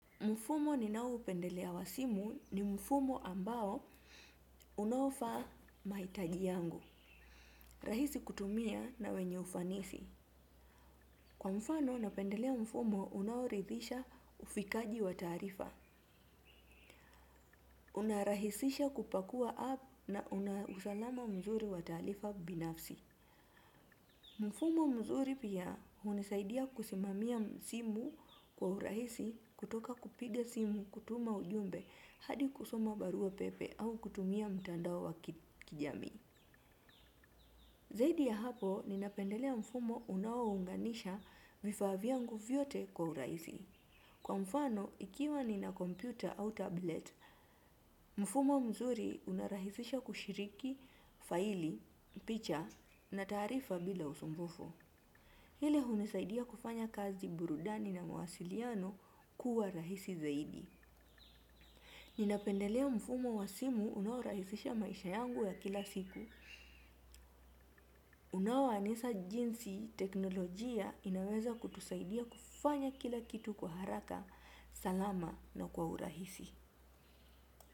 Mfumo ninao upendelea wa simu ni mfumo ambao unaofaa maitaji yangu. Rahisi kutumia na wenye ufanisi. Kwa mfano napendelea mfumo unaoridhisha ufikaji wa taarifa. Unarahisisha kupakua app na unausalama mzuri wa taalifa binafsi. Mfumo mzuri pia hunisaidia kusimamia simu kwa urahisi kutoka kupiga simu kutuma ujumbe hadi kusoma barua pepe au kutumia mtandao wa kijamii. Zaidi ya hapo, ninapendelea mfumo unao unganisha vifaa vyangu vyote kwa urahisi. Kwa mfano, ikiwa nina kompyuta au tablet, mfumo mzuri unarahisisha kushiriki faili, picha na taarifa bila usumbufu. Hile hunisaidia kufanya kazi burudani na mwasiliano kuwa rahisi zaidi. Ninapendelea mfumo wa simu unaorahisisha maisha yangu ya kila siku. Unaowanesa jinsi teknolojia inaweza kutusaidia kufanya kila kitu kwa haraka. Salama na kwa urahisi.